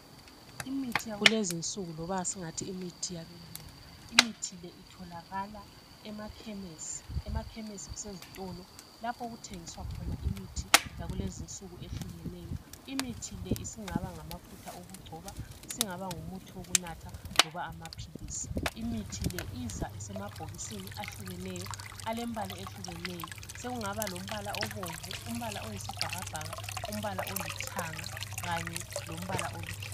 Imithi yakulezi insuku loba singathi imithi yabelungu imithi le itholakala emakhemisi emakhemisi kusezitolo lapho okuthengiswa khona imithi yakulezinsuku ehlukeneyo imithi le isingaba ngamafutha okugcoba isingaba ngumuthi wokunatha loba amaphilisi imithi le iza isemabhokisini ahlukeneyo alembala ehlukeneyo sekungaba lombala obomvu umbala oyisibhakabhaka umbala olithanga kanye lombala oluhlaza.